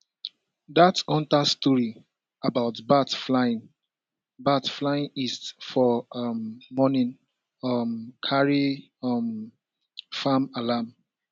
dat hunter story about bats flying bats flying east for um morning um carry um farm alarm